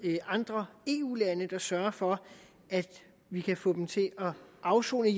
andre eu lande der sørger for at vi kan få dem til at afsone i